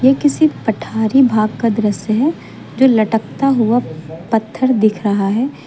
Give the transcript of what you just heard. किसी पठारी भाग का दृश्य है जो लटकता हुआ पत्थर दिख रहा है।